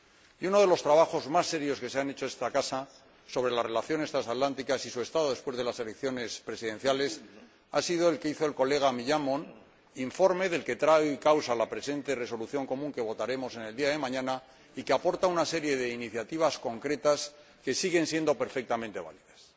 Y uno de los trabajos más serios que se ha hecho en esta Casa sobre las relaciones transatlánticas y su estado después de las elecciones presidenciales ha sido el que hizo el colega Millán Mon, informe que es traído en causa en la presente resolución común que votaremos mañana y que aporta una serie de iniciativas concretas que siguen siendo perfectamente válidas,